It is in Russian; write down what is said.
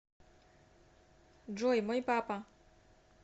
джой мой папа